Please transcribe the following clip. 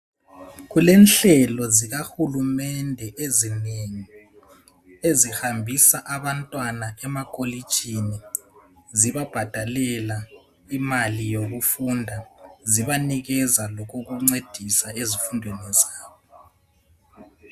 Kulenhlelo zikahulumende ezinengi ezihambisa abantwana emakolitshini zibabhadalela imali yokufunda zibanikeza lokokuncedisa ezifundweni zabo.